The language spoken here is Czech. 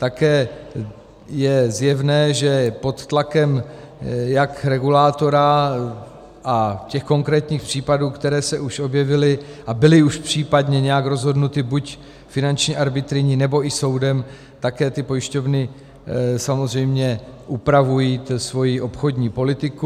Také je zjevné, že pod tlakem jak regulátora a těch konkrétní případů, které se už objevily a byly už případně nějak rozhodnuty buď finanční arbitryní, nebo i soudem, také ty pojišťovny samozřejmě upravují svoji obchodní politiku.